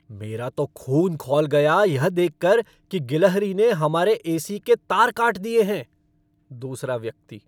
मेरा तो खून खौल गया यह देखकर की गिलहरी ने हमारे एसी के तार काट दिए हैं। दूसरा व्यक्ति